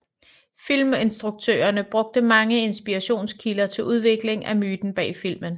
Filminstruktørerne brugte mange inspirationskilder til udviklingen af myten bag filmen